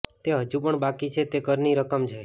તે હજુ પણ બાકી છે તે કરની રકમ છે